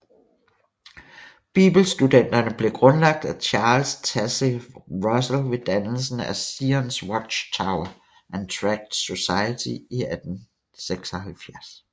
Bibelstudenterne blev grundlagt af Charles Taze Russell ved dannelsen af Zions Watch Tower and Tract Society i 1876